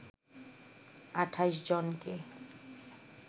২৮ জনকে